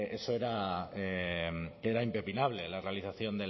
eso era impepinable la realización